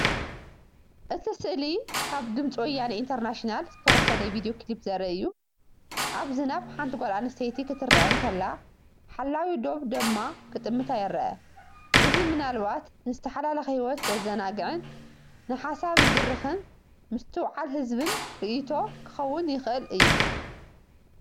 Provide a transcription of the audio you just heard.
እቲ ስእሊ ካብ "ድም'ፂ ወያነ ኢንተርናሽናል"ዝተወስደ ቪድዮ ክሊፕ ዘርኢ እዩ። ኣብ ዝናብ ሓንቲ ጓል ኣንስተይቲ ክትረአ እንከላ ሓላዊ ዶብ ድማ ክጥምታ ይረአ። እዚ ምናልባት ንዝተሓላለኸ ህይወት ዘዘናግዕን ንሓሳብ ዝድርኽን ምስትውዓል ዝህብን ርእይቶ ክኸውን ይኽእል እዩ።